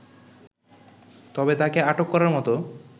তবে তাকে আটক করার মত